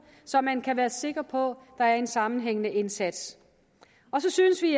så man kan være sikker på der er en sammenhængende indsats og så synes vi